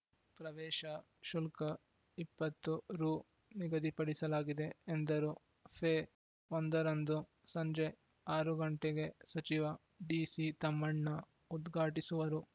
ಪ್ರವೇಶ ಶುಲ್ಕ ಇಪ್ಪತ್ತು ರು ನಿಗದಿಪಡಿಸಲಾಗಿದೆ ಎಂದರು ಫೆ ಒಂದರಂದು ಸಂಜೆ ಆರು ಗಂಟೆಗೆ ಸಚಿವ ಡಿಸಿತಮ್ಮಣ್ಣ ಉದ್ಘಾಟಿಸುವರು